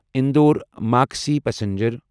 اندور مقصی پسنجر